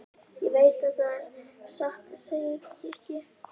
Ég veit það satt að segja ekki.